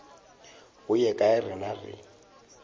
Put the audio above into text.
go ye kae rena re